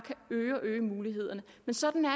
øge og øge mulighederne men sådan er